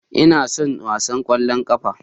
Ina son wasan ƙwallon ƙafa